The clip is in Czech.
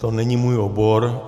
To není můj obor.